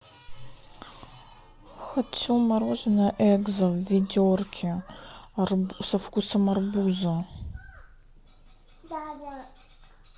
хочу мороженое экзо в ведерке со вкусом арбуза